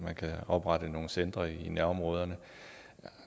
man kan oprette nogle centre i nærområderne